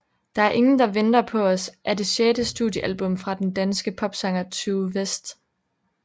Der er ingen der venter på os er det sjette studiealbum fra den danske popsanger Tue West